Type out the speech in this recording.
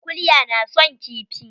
Kulya na son kifi?